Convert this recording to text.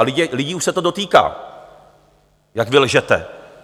A lidí už se to dotýká, jak vy lžete.